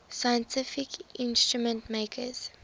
scientific instrument makers